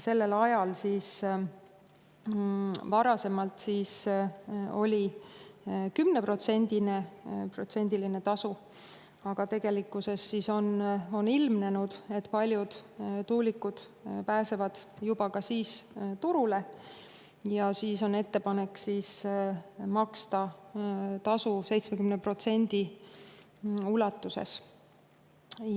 Sellel ajal oli varasemalt 10%-ne tasu, aga tegelikkuses on ilmnenud, et paljud tuulikud pääsevad juba ka siis turule, seega on ettepanek maksta seda tasu 70% ulatuses.